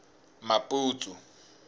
maputsu